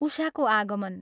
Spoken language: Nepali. उषाको आगमन!